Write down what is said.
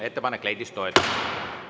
Ettepanek leidis toetust.